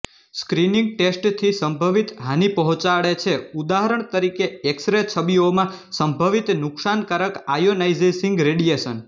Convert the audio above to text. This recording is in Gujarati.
સ્ક્રીનીંગ ટેસ્ટથી સંભવિત હાનિ પહોંચાડે છે ઉદાહરણ તરીકે એક્સરે છબીઓમાં સંભવિત નુકસાનકારક આયોનાઇઝિંગ રેડિયેશન